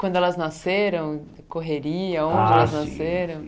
Quando elas nasceram, correria, onde Ah sim Elas nasceram?